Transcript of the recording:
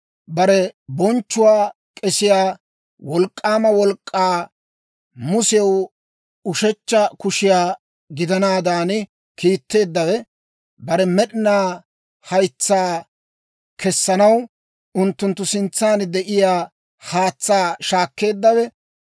Bare bonchchuwaa k'esiyaa wolk'k'aama wolk'k'aa Musew ushechcha kushiyaa gidanaadan kiitteeddawe, bare med'inaa haytsaa kessanaw, unttunttu sintsan de'iyaa haatsaa shaakkeeddawe,